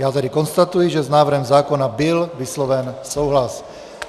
Já tedy konstatuji, že s návrhem zákona byl vysloven souhlas.